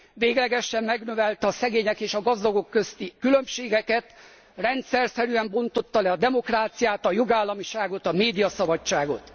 Véglegesen megnövelte a szegények és a gazdagok közötti különbségeket, rendszerszerűen bontotta le a demokráciát, a jogállamiságot, a médiaszabadságot.